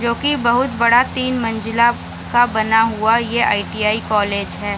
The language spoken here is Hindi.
जो की बहुत ही बड़ा तीन मंजिला का बना हुआ ये एक आई.टी.आई. कॉलेज है।